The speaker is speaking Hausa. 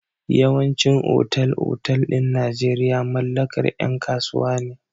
Yawaicin otal-otal ɗin Najeirya mallakar yan kasuwa ne.